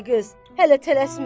Ay qız, hələ tələsmə.